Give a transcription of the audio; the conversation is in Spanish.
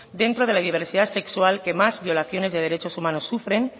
dentro de la diversidad sexual que más violaciones de derechos humanos sufren